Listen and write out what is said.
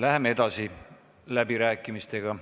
Läheme edasi läbirääkimistega.